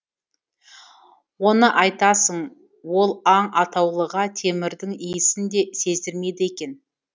оны айтасың ол аң атаулыға темірдің иісін де сездірмейді екен